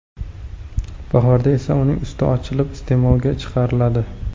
Bahorda esa uning usti ochilib, iste’molga chiqariladi.